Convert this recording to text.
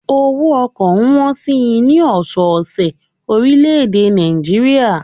Owó ọkọ̀ ń wọn si ní ọ̀sọ́ ọ̀sẹ̀ orílè èdè Nàìjíríà